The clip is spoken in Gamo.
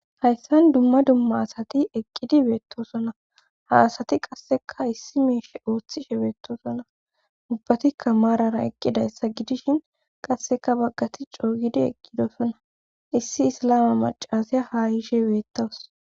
hayssan dumma dumma asati eqqidi beettosona ha asati qasseka issi meeshe ooththishe beettosona ubbatikka maarara eqqidayssa gidishin qasseka baggati cooygidi eqqidosona issi isalama macasiya ha yiishe beettawus